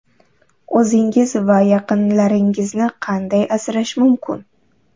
O‘zingiz va yaqinlaringizni qanday asrash mumkin?